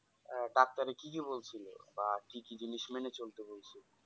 doctor এ কি কি বলছিলো বা কি কি জিনিস মেনে চলতে বলছে।